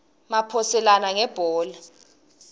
maphoselana ngebhola